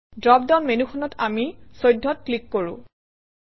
drop down মেনুখনত আমি 14 অত ক্লিক কৰোঁ